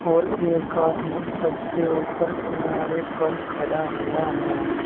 और एक आदमी सबसे ऊपर किनारे पर खड़ा हुआ है।